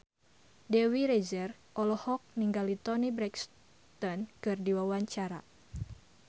Dewi Rezer olohok ningali Toni Brexton keur diwawancara